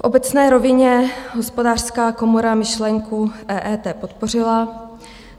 V obecné rovině Hospodářská komora myšlenku EET podpořila,